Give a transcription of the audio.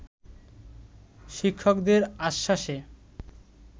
শিক্ষকদের আশ্বাসে